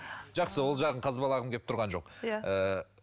жақсы ол жағын қазбалағым келіп тұрған жоқ иә